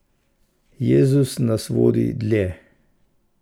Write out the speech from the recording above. Jezus nas vodi dlje!